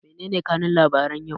Mene ne kanun labaran yau?